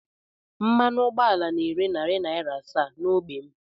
Mmanụ ụgbọala na-ere narị naira asaa n'ógbè m